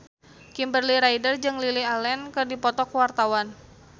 Kimberly Ryder jeung Lily Allen keur dipoto ku wartawan